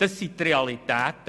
Das sind die Realitäten.